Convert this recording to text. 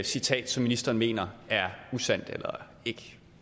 citat som ministeren mener er usandt eller ikke